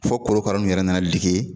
Fɔ korokara nu yɛrɛ nana dege